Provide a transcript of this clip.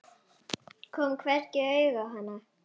Kom hvergi auga á hana.